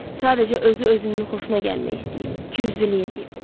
Sadəcə özü özünün xoşuna gəlmək istəyib, qüyzülük eləyib.